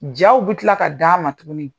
Jaw bi kila ka d'an ma tuguni.